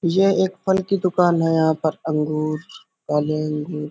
ये एक फल की दुकान है यहाँ पर अंगूर काले अंगूर --